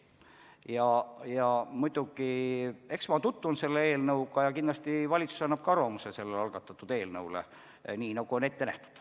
Eks ma muidugi tutvun selle eelnõuga ja kindlasti annab ka valitsus siin algatatud eelnõu kohta arvamuse, nii nagu on ette nähtud.